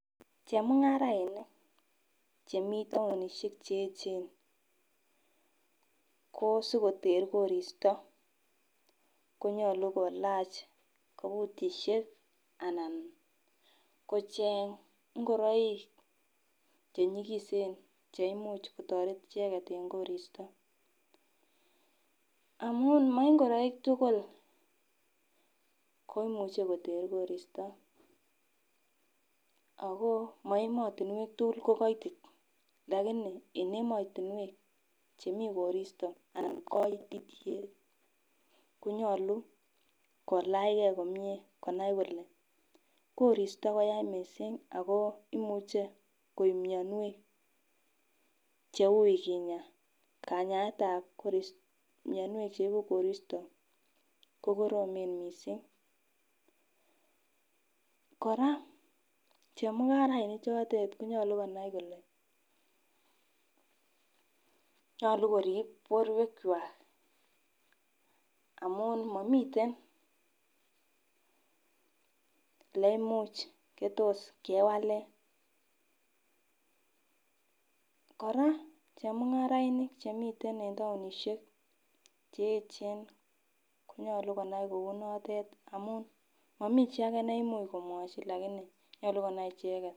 Chemungarainik chemii townishek cheyechen kosikoter koristo konyolu kolach obutishek anan kocheng ingoroik chenyikisen cheimuch kotoret icheket en koristo. amun mo igoroik tukul ko imuche koter koristo ako mo emotunwek tunwek tukul ko koitit lakini en emotunwek chemii koristo anan koitityet konyolu kolachgee komie konai kole koristo koya missing ako imuche koib mionwek cheui kinya, kanyaetab korist mionwek cheibu koristo ko koromen mising koraa chemungarainik chotet konyolu konai kole nyolu korib borwek kwak amun momiten neimuch netos kewalen. koraa chengarainik chemiten en townishek cheyechen konyolu konai kou notet amun momichii age neimuch komwochi nyolu konai icheket.